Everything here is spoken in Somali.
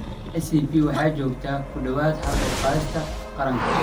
ICP waxa ay joogtaa ku dhawaad ​​haal uur qaadista qaranka.